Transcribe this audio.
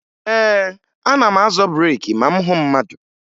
Ee, ana m azọ breeki ma m hụ mmadụ